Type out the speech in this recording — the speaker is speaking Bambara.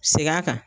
Segin a kan